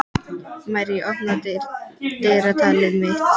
Marley, opnaðu dagatalið mitt.